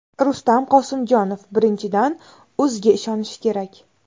Rustam Qosimjonov: Birinchidan, o‘ziga ishonishi kerak.